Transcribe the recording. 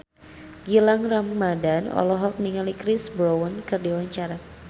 Gilang Ramadan olohok ningali Chris Brown keur diwawancara